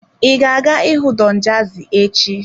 Ị ga-aga ịhụ Don Jazzy echi?